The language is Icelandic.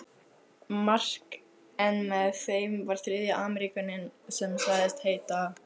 Mark en með þeim var þriðji Ameríkaninn sem sagðist heita